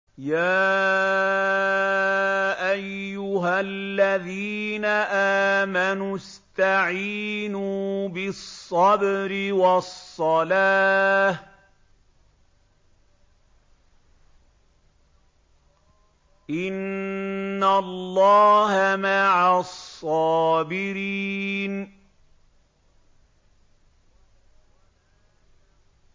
يَا أَيُّهَا الَّذِينَ آمَنُوا اسْتَعِينُوا بِالصَّبْرِ وَالصَّلَاةِ ۚ إِنَّ اللَّهَ مَعَ الصَّابِرِينَ